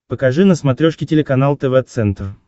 покажи на смотрешке телеканал тв центр